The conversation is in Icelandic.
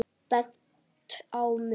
Bent á mig!